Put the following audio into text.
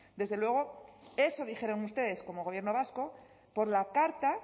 desde luego eso dijeron ustedes como gobierno vasco por la carta